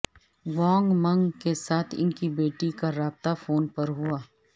وانگ Meng کے ساتھ ان کی بیٹی کا رابطہ فون پر ہوا